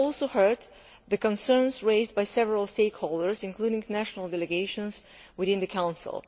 We have also heard the concerns raised by several stakeholders, including national delegations within the Council.